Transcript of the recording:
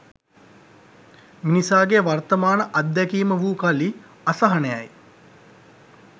මිනිසාගේ වර්තමාන අද්දැකීම වූ කලී අසහනයයි.